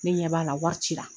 Ne ɲɛ b'a la wari cira